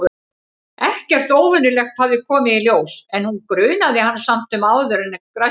Ekkert óvenjulegt hafði komið í ljós- en hún grunaði hann samt sem áður um græsku.